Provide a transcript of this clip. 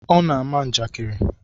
Ọ na-ama ya njakari.